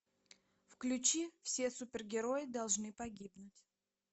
включи все супергерои должны погибнуть